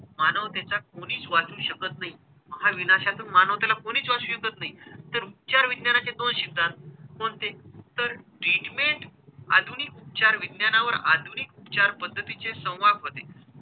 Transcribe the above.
मानवतेचा कोणीच वाचू शकत नाही. महाविनाशातून मानवतेला कोणीच वाचवू शकत नाही तर उपचार विज्ञानाचे दोष शिकतात. कोणते? तर treatment आधुनिक उपचार विज्ञानावर आधुनिक उपचार पद्धतीचे संवादमधे,